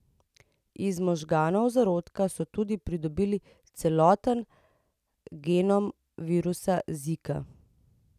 Iz možganov zarodka so tudi pridobili celoten genom virusa zika.